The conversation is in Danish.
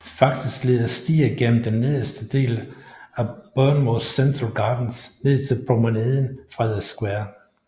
Faktisk leder stier gennem den nederste del af Bournemouth Central Gardens ned til Promenaden fra The square